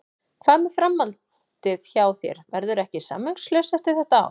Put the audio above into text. Hvað með framhaldið hjá þér, verðurðu ekki samningslaus eftir þetta ár?